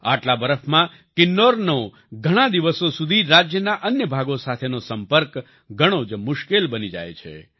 આટલા બરફમાં કિન્નૌરનો ઘણાં દિવસો સુધી રાજ્યના અન્ય ભાગો સાથેનો સંપર્ક ઘણો જ મુશ્કેલ બની જાય છે